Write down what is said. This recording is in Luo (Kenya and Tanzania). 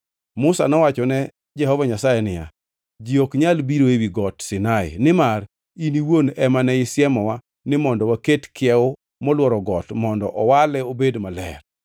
Musa nowacho ne Jehova Nyasaye niya, “Ji ok nyal biro ewi Got Sinai nimar in iwuon ema ne isiemowa ni mondo waket kiewo molworo got mondo owale obed maler.”